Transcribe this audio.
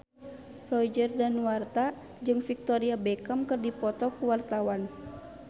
Roger Danuarta jeung Victoria Beckham keur dipoto ku wartawan